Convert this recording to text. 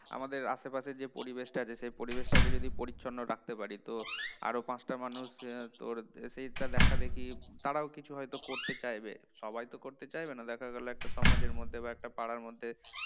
আমাদের আশেপাশের যে পরিবেশটা আছে সেই পরিবেশটাকে যদি পরিচ্ছন্ন রাখতে পারি তো আরও পাঁচটা মানুষ আহ তোর সেইটা দেখাদেখি তারাও কিছু হয়তো করতে চাইবে সবাই তো করতে চাইবে না দেখা গেল একটা সমাজের মধ্যে বা একটা পাড়ার মধ্যে